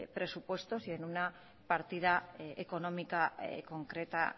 presupuestos y en una partida económica concreta